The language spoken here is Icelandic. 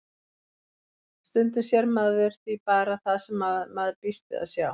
Stundum sér maður því bara það sem maður býst við að sjá.